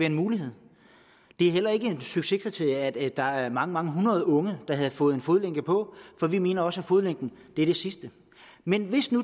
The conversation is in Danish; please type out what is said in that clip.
en mulighed det er heller ikke et succeskriterie at der var mange mange hundrede unge der havde fået en fodlænke på for vi mener også at fodlænken er det sidste men